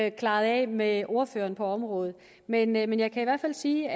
ikke klaret af med ordføreren på området men men jeg kan i hvert fald sige